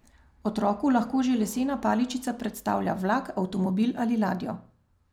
Otroku lahko že lesena paličica predstavlja vlak, avtomobil ali ladjo.